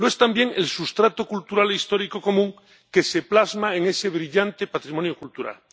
Lo es también el sustrato cultural histórico común que se plasma en ese brillante patrimonio cultural.